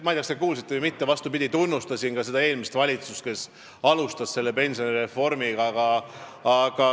Ma ei tea, kas te kuulsite või mitte, aga ma tunnustasin ka eelmist valitsust, kes seda pensionireformi alustas.